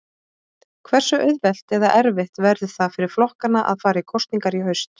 Hversu auðvelt eða erfitt verður það fyrir flokkana að fara í kosningar í haust?